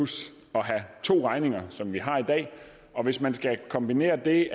have to regninger som vi har i dag og hvis man skal kombinere det